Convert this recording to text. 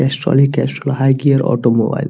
Castrol ही Castrol high gear automobile .